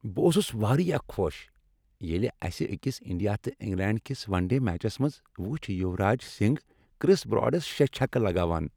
بہٕ اوسس واریاہ خوش ییلِہ اسِہ أکس انڈیا تہٕ انگلینڈ کس ون ڈے میچس منٛز وچھ یوراج سنگھ کِرس براڈس شےٚ چھکہٕ لگاوان۔